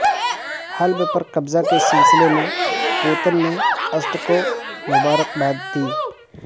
حلب پر قبضہ کے سلسلے میں پوتن نے اسد کو مبارکباد دی